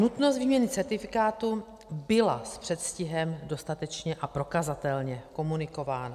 Nutnost výměny certifikátu byla s předstihem dostatečně a prokazatelně komunikována.